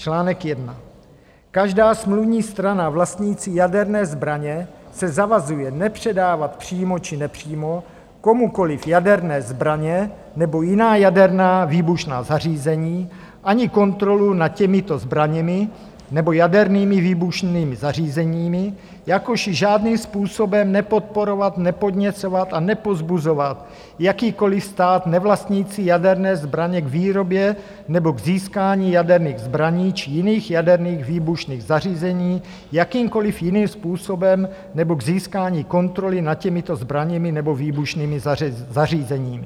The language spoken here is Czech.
Článek 1: Každá smluvní strana vlastnící jaderné zbraně se zavazuje nepředávat přímo či nepřímo komukoliv jaderné zbraně nebo jiná jaderná výbušná zařízení ani kontrolu nad těmito zbraněmi nebo jadernými výbušnými zařízeními, jakož i žádným způsobem nepodporovat, nepodněcovat a nepovzbuzovat jakýkoliv stát nevlastnící jaderné zbraně k výrobě nebo k získání jaderných zbraní či jiných jaderných výbušných zařízení jakýmkoliv jiným způsobem nebo k získání kontroly nad těmito zbraněmi nebo výbušnými zařízeními.